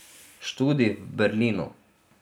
Študij v Berlinu.